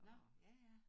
Nå ja ja